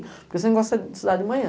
Porque eu sempre gostei estudar de manhã.